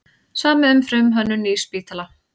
Samið um frumhönnun nýs spítala